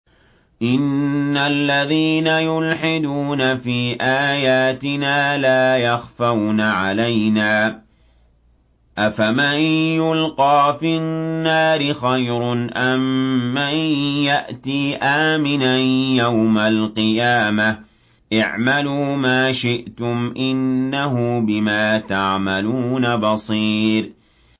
إِنَّ الَّذِينَ يُلْحِدُونَ فِي آيَاتِنَا لَا يَخْفَوْنَ عَلَيْنَا ۗ أَفَمَن يُلْقَىٰ فِي النَّارِ خَيْرٌ أَم مَّن يَأْتِي آمِنًا يَوْمَ الْقِيَامَةِ ۚ اعْمَلُوا مَا شِئْتُمْ ۖ إِنَّهُ بِمَا تَعْمَلُونَ بَصِيرٌ